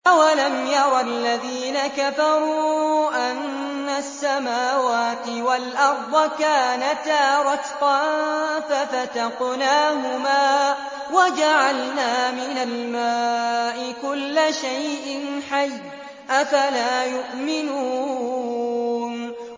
أَوَلَمْ يَرَ الَّذِينَ كَفَرُوا أَنَّ السَّمَاوَاتِ وَالْأَرْضَ كَانَتَا رَتْقًا فَفَتَقْنَاهُمَا ۖ وَجَعَلْنَا مِنَ الْمَاءِ كُلَّ شَيْءٍ حَيٍّ ۖ أَفَلَا يُؤْمِنُونَ